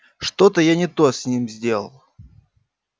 что-то я не то с ним сделал